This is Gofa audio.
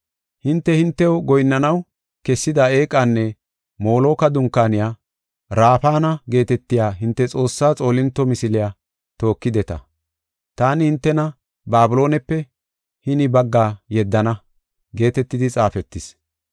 Hinte, hintew goyinnanaw kessida eeqanne Moloka dunkaaniya Rafana geetetiya hinte xoossaa xoolinto misiliya tookideta. Taani hintena Babiloonepe hini bagga yeddana’ geetetidi xaafetis.